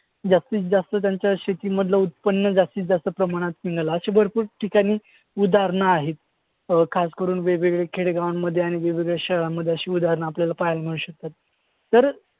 तर जास्तीतजास्त त्यांचं शेतीमधलं उत्पन्न जास्तीतजास्त प्रमाणात मिळलं अशी भरपूर ठिकाणी उदाहरणं आहेत. अं खासकरून वेगवेगळे खेडेगावांमध्ये आणि वेगवेगळ्या शहरांमध्ये अशी उदाहरणं आपल्याला पाहायला मिळू शकतात.